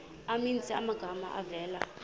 maninzi amagama avela